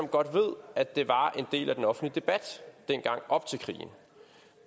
godt ved at det var en del af den offentlige debat dengang op til krigen